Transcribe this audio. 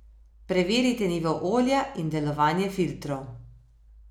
Preverite nivo olja in delovanje filtrov.